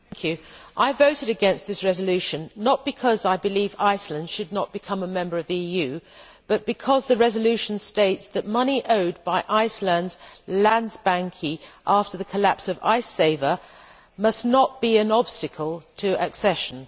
Mr President, I voted against this resolution not because I believe Iceland should not become a member of the EU but because the resolution states that money owed by Iceland's Landsbanki after the collapse of Icesave must not be an obstacle to accession.